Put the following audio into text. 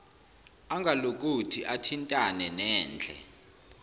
angalokothi athintane nendle